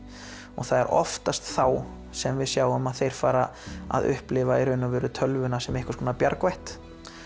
það er oftast þá sem við sjáum að þeir fara að upplifa tölvuna sem einhvers konar bjargvætt